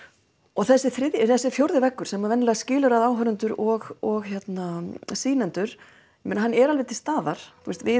og þessi þessi fjórði veggur sem venjulega skilur áhorfendur og sýnendur að hann er alveg til staðar við